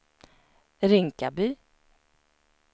Rinkaby